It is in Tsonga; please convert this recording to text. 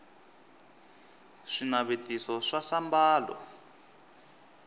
swinavetiso swa sambalo